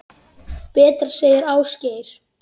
Betra, segir Ásgeir.